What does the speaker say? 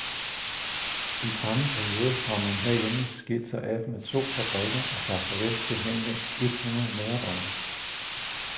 I samme periode har man herhjemme skilt sig af med to fabrikker og sagt farvel til henved et hundrede medarbejdere.